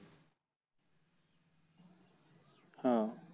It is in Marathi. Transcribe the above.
हं